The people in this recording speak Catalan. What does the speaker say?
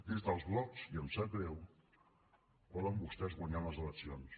des dels blocs i em sap greu poden vostès guanyar unes eleccions